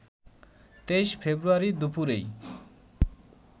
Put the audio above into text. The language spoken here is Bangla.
২৩ ফেব্রুয়ারি দুপুরেই